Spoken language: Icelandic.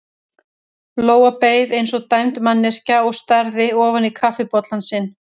Lóa beið eins og dæmd manneskja og starði ofan í kaffibollann sinn.